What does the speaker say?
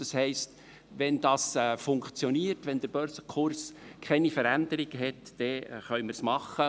Das heisst, wenn dies funktioniert, wenn der Börsenkurs keine Veränderung hat, können wir es machen.